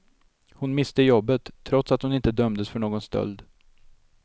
Hon miste jobbet, trots att hon inte dömdes för någon stöld.